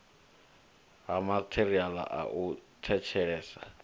ha matheriala a u thetshelesa